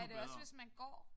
Er det også hvis man går?